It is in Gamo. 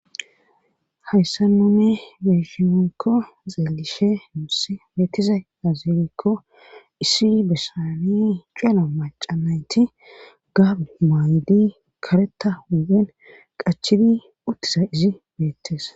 hayssa nune meeshimenkko xeelishe nuussi beettiza azeelikko issi bessani cuela macanayti gab maaydi kareta huwen qachidi uttisa izi beettes